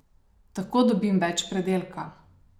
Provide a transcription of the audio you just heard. Tako dobim več pridelka.